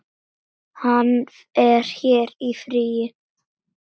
Hann er hér í fríi.